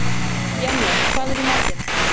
Salli, syngdu fyrir mig „Ekkert breytir því“.